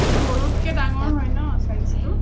গৰুত কে ডাঙৰ হয় ন size টো